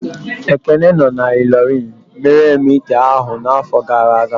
Ekene no na Illorin mere m ite ahụ n'afọ gara aga